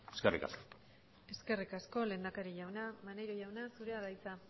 eskerrik asko eskerrik asko lehendakari jauna maneiro jauna zurea da hitza